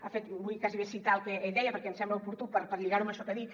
ha fet vull quasi bé citar el que ell deia perquè ens sembla oportú per lligar ho amb això que dic